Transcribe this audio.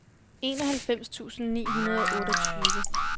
enoghalvfems tusind ni hundrede og otteogtyve